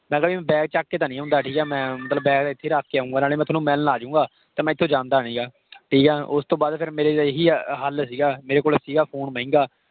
ਮੈਂ ਕਿਹਾ ਭੀ ਮੈਂ bag ਚੱਕ ਕੇ ਤਾਂ ਨਹੀਂ ਆਉਂਦਾ। ਠੀਕ ਹੈ। ਮੈਂ ਬੈਗ ਇੱਥੇ ਹੀ ਰੱਖ ਕੇ ਆਊਂਗਾ, ਨਾਲੇ ਮੈਂ ਤੁਹਾਨੂੰ ਮਿਲਣ ਆਜੂੰਗਾ। ਤੇ ਮੈਂ ਇਥੋਂ ਜਾਂਦਾ ਨਿਗਾ, ਠੀਕ ਆ ਓਸ ਤੋਂ ਬਾਅਦ ਫਿਰ ਮੇਰੇ ਇਹੀ ਹਲ ਸੀਗਾ। ਮੇਰੇ ਕੋਲ ਸੀਗਾ phone ਮਹਿੰਗਾ।